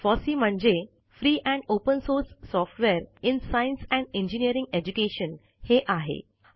FOSSEE म्हणजे free and open source software in science and engineering education हे आहे